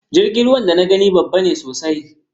Jirgin ruwan da na gani babba ne sosai